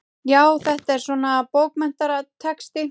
Já, þetta er svona. bókmenntatexti.